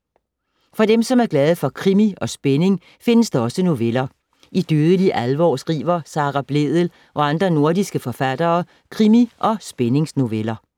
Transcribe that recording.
For dem, som er glade for krimi og spænding findes der også noveller. I Dødelig alvor skriver Sara Blædel og andre nordiske forfattere krimi- og spændingsnoveller.